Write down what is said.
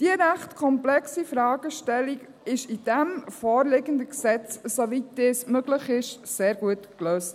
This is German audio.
Diese ziemlich komplexe Fragestellung wurde im vorliegenden Gesetz, soweit es möglich ist, sehr gut gelöst.